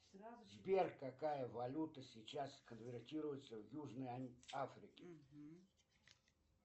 сбер какая валюта сейчас конвертируется в южной африке